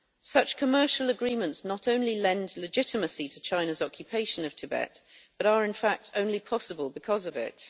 Such commercial agreements not only lend legitimacy to China's occupation of Tibet but are, in fact, only possible because of it.